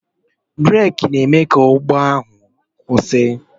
Breeki na-eme ka ụgbọ ala ahụ kwụsị